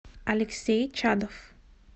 алексей чадов